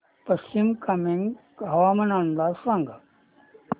पश्चिम कामेंग हवामान अंदाज सांगा